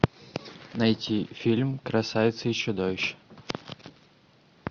найти фильм красавица и чудовище